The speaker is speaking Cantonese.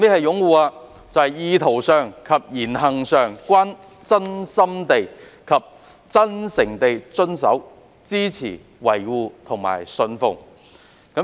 "擁護"就是意圖上及言行上均真心地及真誠地遵守、支持、維護及信奉。